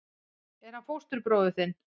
Er hann fóstbróðir þinn?